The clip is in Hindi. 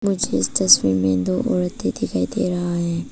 मुझे इस तस्वीर में दो औरते दिखाई दे रही है।